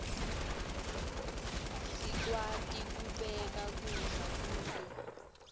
sikwati kubeka kudla kuto